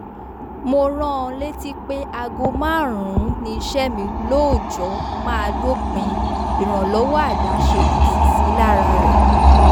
mo rán an létí pé aago márùn-ún ni iṣẹ́ mi lóòjọ́ máa dópin ìrànlọ́wọ́ àdáṣe kò sì sí lára rẹ̀